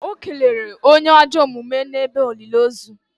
o kelere onye ajọ omume n’ebe olili ozu